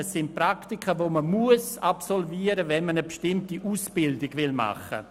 es sind Praktika, die absolviert werden müssen, wenn man eine bestimmte Ausbildung machen möchte.